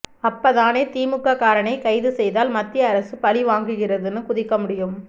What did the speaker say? அப்ப தானே திமுக காரனை கைது செய்தால் மத்திய அரசு பழிவாங்குகிறதுனு குதிக்க முடியும்